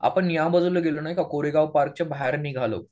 आपण त्याबाजूला गेलो नाही का कोरेगाव पार्क च्या बाहेर निघालो.